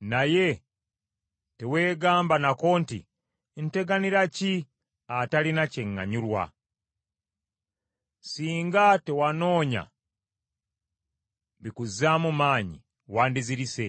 naye teweegamba nako nti, ‘Nteganira ki atalina kyeŋŋanyurwa?’ Singa tewanoonya bikuzaamu maanyi, wandizirise.